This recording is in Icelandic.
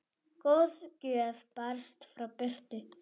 Góð gjöf barst frá Birtu.